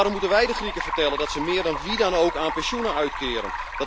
Waarom moeten wij de Grieken vertellen dat ze meer dan wie ook aan pensioenen uitkeren?